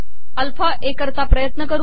alpha ए किरता पयत कर